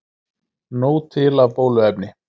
Nóg til af bóluefni